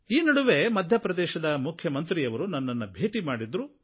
ಈ ನಡುವೆ ಮಧ್ಯಪ್ರದೇಶದ ಮುಖ್ಯಮಂತ್ರಿಯವರು ನನ್ನನ್ನು ಭೇಟಿ ಮಾಡಿದ್ದರು